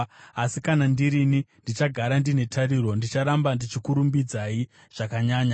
Asi kana ndirini, ndichagara ndine tariro; ndicharamba ndichikurumbidzai zvakanyanya.